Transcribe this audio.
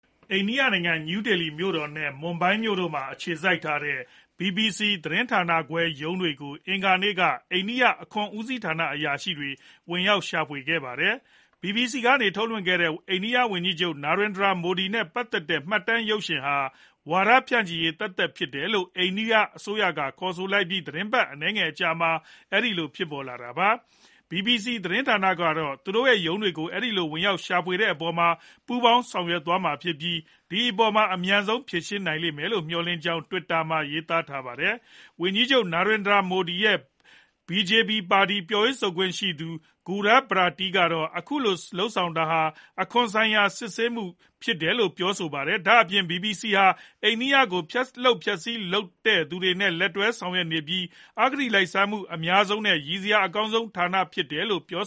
အိန္ဒိယနိုင်ငံ New Delhi မြို့တော်နဲ့ Mumbai မြို့တို့မှာအခြေစိုက်ကြတဲ့ BBC သတင်းဌာနခွဲ ရုံးတွေကို အင်္ဂါနေ့က အိန္ဒိယအခွန်ဦးစီးဌာန အရာရှိတွေက ဝင်ရောက်ရှာဖွေခဲ့ကြပါတယ်။ BBC ကနေထုတ်လွှင့်ခဲ့တဲ့ အိန္ဒိယဝန်ကြီးချုပ် Narendra Modi နဲ့ ပတ်သက်တဲ့ မှတ်တမ်းရုပ်ရှင်ဟာ ဝါဒဖြန့်ချီရေးသက်သက်ဖြစ်တယ်လို့ အိန္ဒိယအစိုးရကခေါ်ဆိုလိုက်ပြီး သီတင်းပတ်အနည်းငယ်အကြာမှာ အဲဒီလို ဖြစ်ပေါ်လာတာပါ။ BBC သတင်းဌာနကတော့ သူတို့ရဲ့ရုံးတွေကို အဲဒီလို ဝင်ရောက်ရှာဖွေတဲ့အပေါ်မှာ ပူးပေါင်းဆောင်ရွက်သွားမှာဖြစ်ပြီး ဒီအပေါ်မှာ အမြန်ဆုံး ဖြေရှင်းနိုင်ကြလိမ့်မယ်လို့ မျှော့်လင်ထားကြောင်း Twitter မှာ ရေးသားထားပါတယ်။ ဝန်ကြီးချုပ် Narandi Modi ရဲ့ Bharatiya Janata Party BJP ပြောရေးဆိုခွင့်ရှိသူ Gaurav Bhatia ကတော့ အခုလို လုပ်ဆောင်တာဟာ အခွန်ဆိုင်ရာ စစ်ဆေးမှုဖြစ်ကြောင်း ပြောပါတယ်။ ဒါ့အပြင် BBC ဟာ အိန္ဒိယကို ဖျက်လုပ်ဖျက်ဆီးလုပ်နေသူတွေနဲ့ လက်တွဲလုပ်ဆောင်နေပြီး အဂတိလိုက်စားမှုအများဆုံး နဲ့ ရီစရာအကောင်းဆုံး သတင်းဌာနဖြစ်တယ်လို့ ပြော